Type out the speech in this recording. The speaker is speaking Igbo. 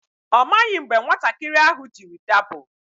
Ọ maghị mgbe nwatakịrị ahụ jiri dapụ.